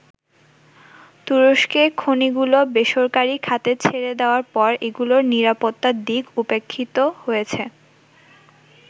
তুরস্কে খনিগুলো বেসরকারি খাতে ছেড়ে দেয়ার পর এগুলোর নিরাপত্তার দিক উপেক্ষিত হয়েছে।